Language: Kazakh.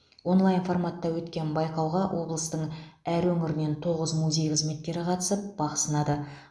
онлайн форматта өткен байқауға облыстың әр өңірінен тоғыз музей қызметкері қатысып бақ сынады